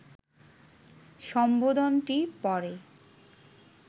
সম্বোধনটি পড়ে